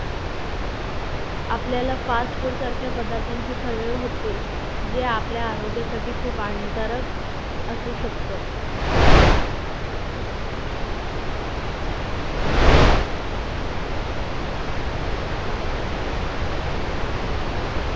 आपल्याला fast food सारख्या पदार्थांची सवय होते जे आपल्या आरोग्यासाठी खूप हानिकारक असू शकत